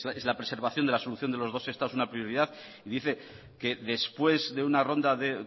es la preservación de la solución de los dos estados una prioridad y dice que después de una ronda de